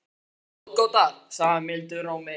Daman er ráðgáta, sagði hann mildum rómi.